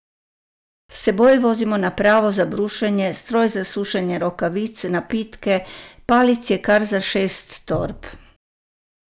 S seboj vozimo napravo za brušenje, stroj za sušenje rokavic, napitke, palic je kar za šest torb.